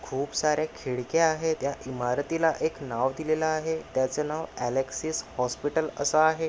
खूप सारे खिडक्या आहेत या इमारतीला एक नाव दिलेल आहे त्याच नाव अलेक्सिस हॉस्पिटल अस आहे.